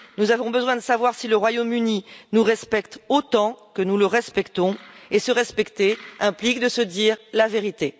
Nous avons besoin de savoir si le Royaume Uni nous respecte autant que nous le respectons, et se respecter implique de se dire la vérité.